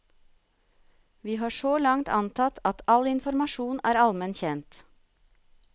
Vi har så langt antatt at all informasjon er allmen kjent.